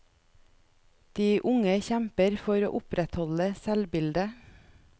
De unge kjemper for å opprettholde selvbildet.